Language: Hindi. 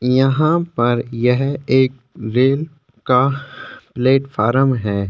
यहां पर एक रेल का प्लेटफार्म है।